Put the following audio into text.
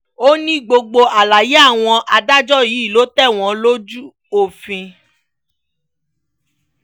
ó ní gbogbo àlàyé àwọn adájọ́ yìí ló tẹ̀wọ̀n lójú òfin